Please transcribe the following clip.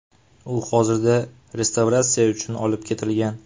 U hozirda restavratsiya uchun olib ketilgan.